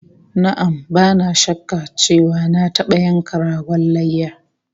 Na'am, bana shakka cewa na taba yanka ragon layya